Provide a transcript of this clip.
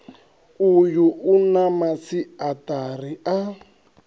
uyu u na masiaṱari a